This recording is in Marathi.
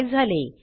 काय झाले